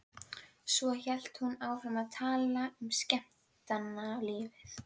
Á bernskuheimili Leifs ríkti gríðarleg vinnuharka.